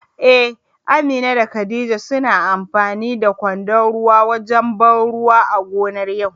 Eh Amina da khadija suna amfani da kwandon ruwa wajen ban ruwa a gonar yau.